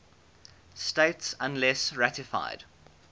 states unless ratified